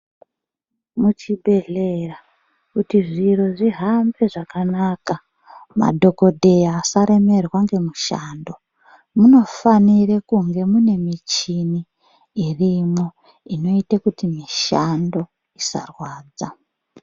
Muchibhedhleya kuti zviro zvihambe zvakanaka madhokodheya asaremerwa ngemushando munofanira kunge mune michini irimwo inoita kuti mishando isarwadza.